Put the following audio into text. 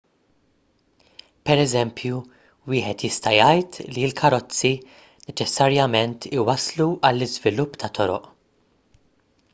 pereżempju wieħed jista' jgħid li l-karozzi neċessarjament iwasslu għall-iżvilupp ta' toroq